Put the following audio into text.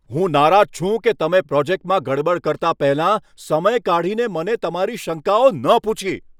હું નારાજ છું કે તમે પ્રોજેક્ટમાં ગડબડ કરતા પહેલાં સમય કાઢીને મને તમારી શંકાઓ ન પૂછી.